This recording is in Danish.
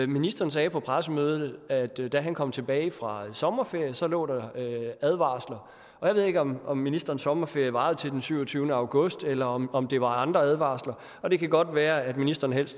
ministeren sagde på pressemødet at der da han kom tilbage fra sommerferie lå advarsler og jeg ved ikke om om ministerens sommerferie varede til den syvogtyvende august eller om om det var andre advarsler og det kan godt være at ministeren helst